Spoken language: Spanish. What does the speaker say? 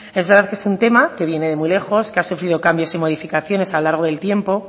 es verdad que es un tema que viene de muy lejos que ha sufrido cambios y modificaciones a lo largo del tiempo